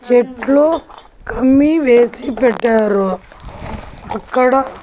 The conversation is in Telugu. చెట్లు కమ్మి వేసి పెట్టారు అక్కడ--